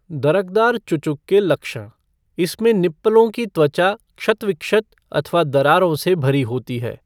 दरकदार चुचुक के लक्षण इसमें निप्पलों की त्वचा क्षत विक्षत अथवा दरारों से भरी होती है।